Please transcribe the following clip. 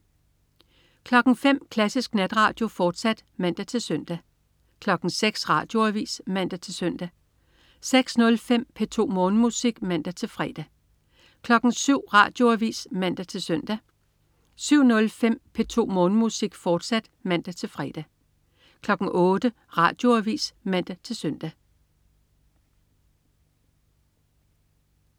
05.00 Klassisk Natradio, fortsat (man-søn) 06.00 Radioavis (man-søn) 06.05 P2 Morgenmusik (man-fre) 07.00 Radioavis (man-søn) 07.05 P2 Morgenmusik, fortsat (man-fre) 08.00 Radioavis (man-søn)